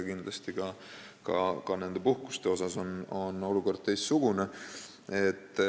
Kindlasti on olukord ka puhkuste mõttes teistsugune.